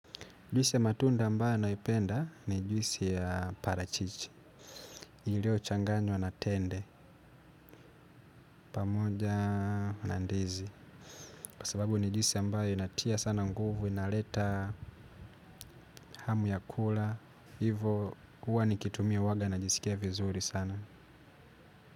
Juisi ya matunda ambayo naipenda ni juisi ya parachichi. Iliyo changanywa na tende pamoja na ndizi kwa sababu ni juisi ambayo inatia sana nguvu inaleta hamu ya kula. Hiyvo uwa nikitumia uwaga na jisikia vizuri sana.